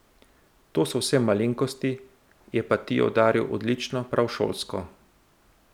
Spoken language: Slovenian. To so vse malenkosti, je pa Tijo udaril odlično, prav šolsko.